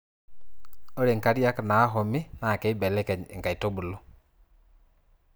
ore nkariak naahumi naa keiblekeny inkaitubulu.